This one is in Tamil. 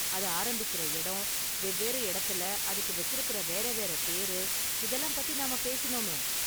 அது ஆரம்பிக்குற இடம், வெவ்வேறு இடத்துல அதுக்கு வெச்சிருக்குற வேற வேற பேரு, இதெல்லாம் பத்தி நாம பேசினோமே?